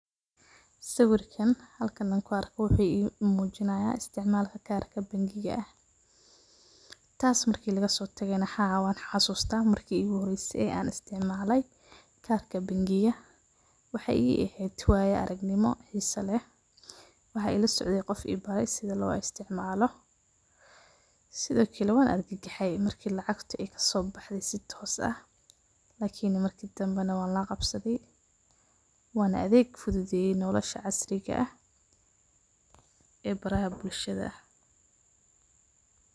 Sawirkan halkaan an ku arko wuxu imujinaya isticmalka karka bankiga aah. Taas marka lagasotago na waxan xasusta marki igu horeyse ee an isticmale karka bankiga waxay i eheed wayi araknimo oo xise leeh waxay ilasocde qof ibaro sidhi loo isticmalo sidha kale waan argagaxe marki lacagta ay kasobaxde si toos aah lakiin marki damba na waan lagabsadhe waana adeeg fudhudhiye noolasha casriga aah ee baraha bulshada.